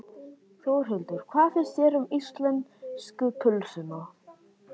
Þórhildur: Hvað finnst þér um íslensku pylsuna?